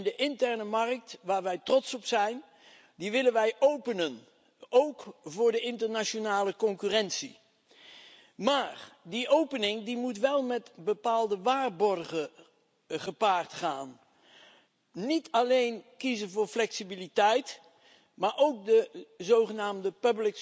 En de interne markt, waar wij trots op zijn, willen wij openen, ook voor de internationale concurrentie. Maar die opening moet wel met bepaalde waarborgen gepaard gaan. We mogen niet alleen kiezen voor flexibiliteit, maar moeten ook de zogenaamde